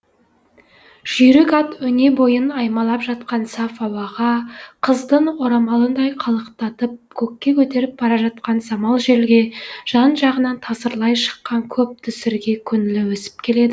жүйрік ат өне бойын аймалап жатқан саф ауаға қыздың орамалындай қалықтатып көкке көтеріп бара жатқан самал желге жан жағынан тасырлай шыққан көп дүсірге көңілі өсіп келеді